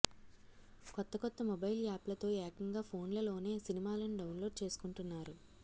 కొత్త కొత్త మొబైల్ యాప్లతో ఏకంగా ఫోన్లలోనే సినిమాలను డౌన్లోడ్ చేసుకుంటున్నారు